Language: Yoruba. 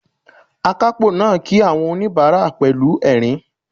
Akápò náà kí àwọn oníbàárà pẹ̀lú ẹ̀rín